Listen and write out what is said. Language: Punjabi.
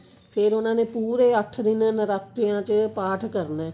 ਫ਼ੇਰ ਉਹਨਾ ਨੇ ਪੂਰੇ ਅੱਠ ਦਿਨ ਨਰਾਤਿਆਂ ਚ ਪਾਠ ਕਰਨਾ